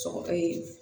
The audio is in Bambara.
Sɔgɔ ye